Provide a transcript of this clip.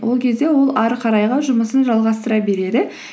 ол кезде ол ары қарайға жұмысын жалғастыра береді